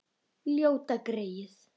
Ljóta greyið.